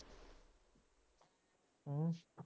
ਹੂੰ